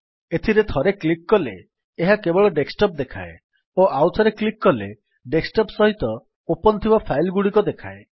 ଏଥିରେ ଥରେ କ୍ଲିକ୍ କଲେ ଏହା କେବଳ ଡେସ୍କଟପ୍ ଦେଖାଏ ଓ ଆଉଥରେ କ୍ଲିକ୍ କଲେ ଡେସ୍କଟପ୍ ସହିତ ଓପନ୍ ଥିବା ଫାଇଲ୍ ଗୁଡିକ ଦେଖାଏ